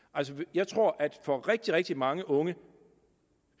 jeg tror at det for rigtig rigtig mange unge